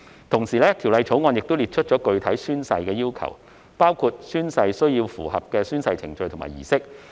同時，《條例草案》亦列出了具體的宣誓要求，包括宣誓須符合宣誓程序和儀式。